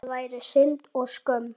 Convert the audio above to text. Það væri synd og skömm.